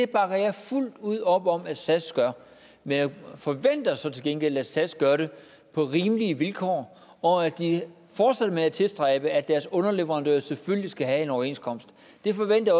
bakker jeg fuldt ud op om at sas gør men jeg forventer så til gengæld at sas gør det på rimelige vilkår og at de fortsætter med at tilstræbe at deres underleverandører selvfølgelig skal have en overenskomst det forventer